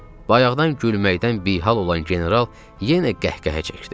Bayaqdan gülməkdən bihal olan general yenə qəhqəhə çəkdi.